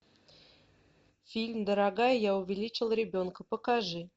фильм дорогая я увеличил ребенка покажи